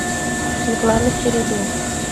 светланы середы